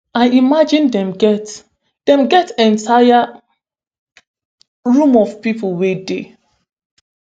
i imagine dem get dem get entire room of pipo wey dey